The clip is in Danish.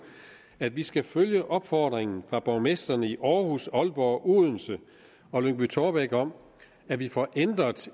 at vi skal følge opfordringen fra borgmestrene i aarhus aalborg og odense og lyngby taarbæk om at vi får ændret